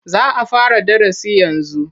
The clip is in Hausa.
Za a fara darasi yanzu